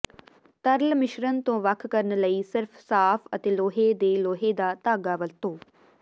ਤਰਲ ਮਿਸ਼ਰਣ ਤੋਂ ਵੱਖ ਕਰਨ ਲਈ ਸਿਰਫ ਸਾਫ਼ ਅਤੇ ਲੋਹੇ ਦੇ ਲੋਹੇ ਦਾ ਧਾਗਾ ਵਰਤੋ